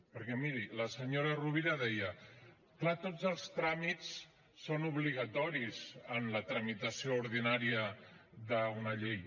perquè miri la senyora rovira deia clar tots els tràmits són obligatoris en la tramitació ordinària d’una llei